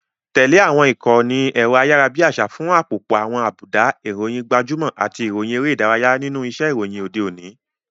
Tẹ̀lé àwọn ìkànnì ẹ̀rọ ayárabíàṣá fún àpòpọ̀ àwọn àbùdá, ìròyìn gbajúmọ̀, àti ìròyìn eré ìdárayá nínú iṣẹ́ ìròyìn òde òní.